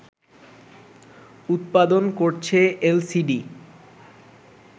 উৎপাদন করছে এলসিডি